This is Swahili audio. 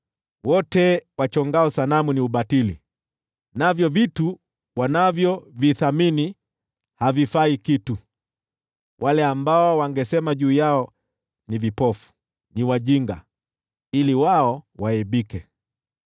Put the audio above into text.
Wote wachongao sanamu ni ubatili, navyo vitu wanavyovithamini havifai kitu. Wale ambao wanazitetea ni vipofu, ni wajinga, nao waaibika.